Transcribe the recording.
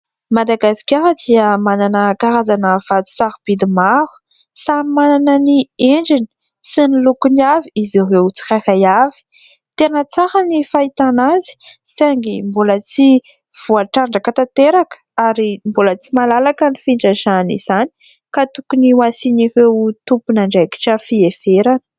Madagasikara dia manana karazana vato sarobidy maro samy manana ny endriny sy ny lokony avy izy ireo tsirairay avy ; tena tsara ny fahitana azy saingy mbola tsy voatrandraka tanteraka ary mbola tsy malalaka ny fitrandrahana izany ka tokony ho asian''ireo tompon'andraikitra fiheverana.